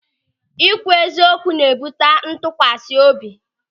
Ị kwụ eziokwu na-ebute ntụkwasị obi.